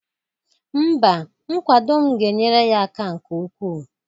Mba, nkwado m ga-enyere ya aka nke ukwu